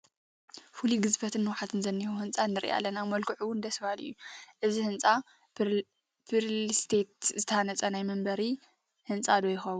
ፍሉይ ግዝፈትን ንውሓትን ዝኔዎ ህንፃ ንርኢ ኣለና፡፡ መልክዑ እውን ደስ በሃሊ እዩ፡፡ እዚ ህንፃ ብሪልስቴት ዝተሃነፀ ናይ መንበሪ ህንፃ ዶ ይኸውን?